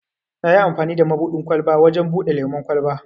Nayi amfani da mabuɗin ƙwalba wajen buɗe lemun kwalba.